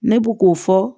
Ne bu k'o fɔ